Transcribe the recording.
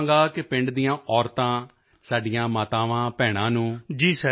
ਮੈਂ ਚਾਹਾਂਗਾ ਕਿ ਪਿੰਡ ਦੀਆਂ ਔਰਤਾਂ ਸਾਡੀਆਂ ਮਾਤਾਵਾਂਭੈਣਾਂ ਨੂੰ